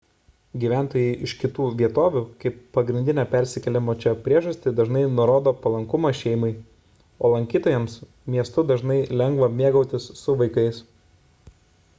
gyventojai iš kitų vietovių kaip pagrindinę persikėlimo čia priežastį dažnai nurodo palankumą šeimai o lankytojams miestu dažnai lengva mėgautis su vaikais